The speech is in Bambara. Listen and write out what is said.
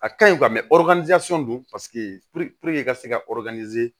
A kaɲi don paseke i ka se ka